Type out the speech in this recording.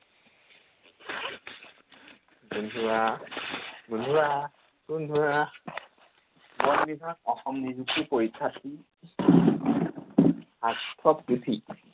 গোন্ধোৱা গোন্ধোৱা গোন্ধোৱা বন বিভাগ অসম নিযুক্তি পৰিক্ষাৰ্থীৰ পুথি।